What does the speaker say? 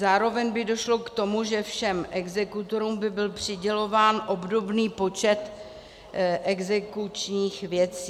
Zároveň by došlo k tomu, že všem exekutorům by byl přidělován obdobný počet exekučních věcí.